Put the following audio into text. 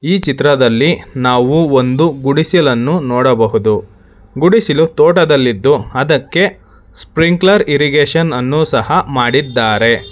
ಈ ಚಿತ್ರದಲ್ಲಿ ನಾವು ಒಂದು ಗುಡಿಸಲನ್ನು ನೋಡಬಹುದು ಗುಡಿಸಿಲು ತೋಟದಲ್ಲಿದ್ದು ಅದಕ್ಕೆ ಸ್ಪ್ರಿಂಕ್ಲರ್ ಇರ್ರಿಗೇಶನ್ ಅನ್ನು ಸಹ ಮಾಡಿದ್ದಾರೆ.